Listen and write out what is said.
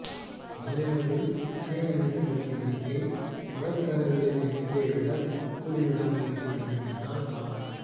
மலாயாவில் சீன இனத்தவரின் எண்ணிக்கை மலாய்க்காரர்களின் எண்ணிக்கையைவிட கூடிவிடாமல் இருக்க வேண்டுமென்றால் நாம்